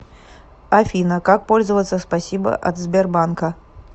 афина как пользоваться спасибо от сбербанка